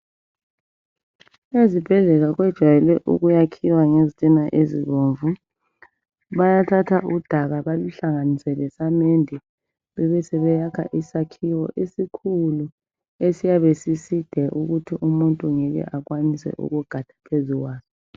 Ezibhedlela kwejayele ukuyakhiwa ngezitina ezibomvu, bayathatha udaka baluhlanganise lesamende bebe sebeyakha isakhiwo esikhulu esiyabe siside ukuthi umuntu ngeke ekwanise ukugada phezu kwaso